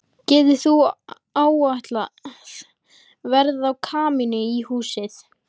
Getur þú áætlað verð á kamínu í húsið?